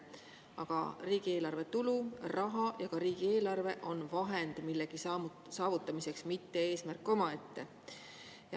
Aga riigieelarve tulu, raha ja ka riigieelarve on vahend millegi saavutamiseks, mitte eesmärk omaette.